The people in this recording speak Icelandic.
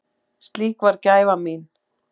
Slík var gæfa mín.